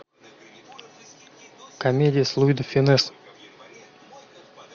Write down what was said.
комедия с луи де фюнес